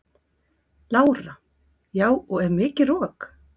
Lára: Já og er mikið rok?